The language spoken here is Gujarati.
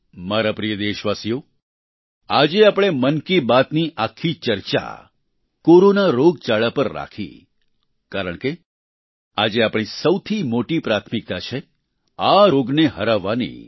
મારા પ્રિય દેશવાસીઓ આજે આપણે મન કી બાત ની આખી ચર્ચા કોરોના રોગચાળા પર રાખી કારણ કે આજે આપણી સૌથી મોટી પ્રાથમિકતા છે આ રોગને હરાવવાની